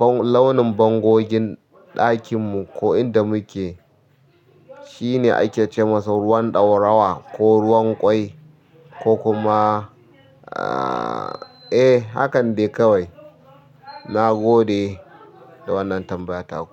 launin bangogin ɗakinmu ko inda muke shine ake cema ruwan dorawa ko ruwan kwai ko kuma ahh hakane kawai na gode da wannan tambayata.